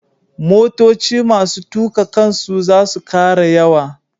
Motoci masu tuƙa kansu za su ƙara yawa.